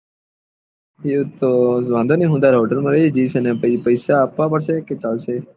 એજ તો વાંધો નહી હું તારે હોટેલ માં રહી જયીસ અને પેસા આપવા પડશે કે ચાલશે